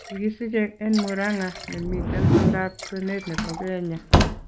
Kikisiche en Muranga , nemiten oldab kwenet nebo Kenya.